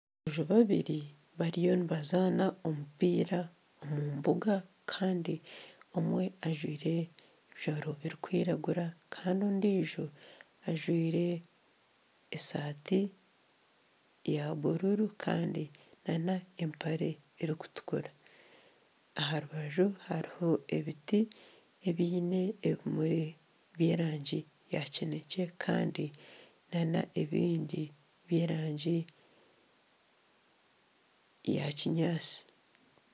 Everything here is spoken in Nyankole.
Aboojo babiri bariyo nibazana omupiira omu mbuga kandi omwe ajwaire ebijwaro ebikwiragura kandi ondijo ajwaire esaati ya buruuru kandi n'empare erikutukura aha rubaju hariho ebiti ebiine ebimuri by'erangi ya kinekye kandi n'ebindi by'erangi ya kinyaatsi.